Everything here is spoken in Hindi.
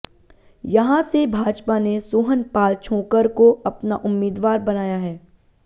यहां से भाजपा ने सोहनपाल छोंकर को अपना उम्मीदवार बनाया है